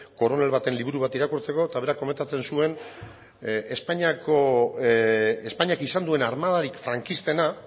koronel baten liburu bat irakurtzeko eta berak komentatzen zuen espainiako espainiak izan duen armadarik frankistena